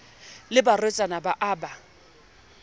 le barwetsana ba a ba